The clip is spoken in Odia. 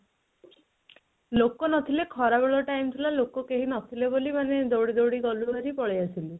ଲୋକ ନଥିଲେ ଖରା ବେଳ time ଥିଲା ଲୋକ କେହି ନ ଥିଲେ ବୋଲି ମାନେ ଦୌଡ଼ି ଦୌଡ଼ି ଗଲୁ ବାହାରି ପଳେଇ ଆସିଲୁ